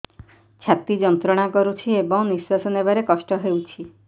ଛାତି ଯନ୍ତ୍ରଣା କରୁଛି ଏବଂ ନିଶ୍ୱାସ ନେବାରେ କଷ୍ଟ ହେଉଛି